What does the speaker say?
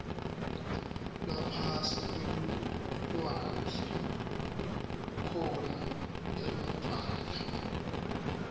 ngaphasi kwelulwandle kukhona emadvwala